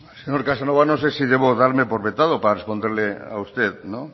señor casanova no sé si debo darme por vetado para responderle a usted